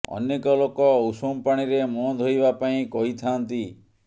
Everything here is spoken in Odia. ଅନେକ ଲୋକ ଉଷୁମ ପାଣିରେ ମୁହଁ ଧୋଇବା ପାଇଁ କହିଥାଆନ୍ତି